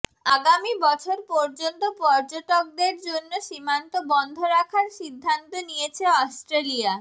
আগামী বছর পর্যন্ত পর্যটকদের জন্য সীমান্ত বন্ধ রাখার সিদ্ধান্ত নিয়েছে অস্ট্রেলিয়া